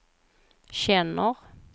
känner